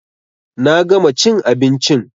Na gama chin abinchin